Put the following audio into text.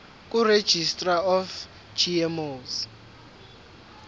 kuregistrar of gmos